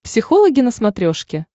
психологи на смотрешке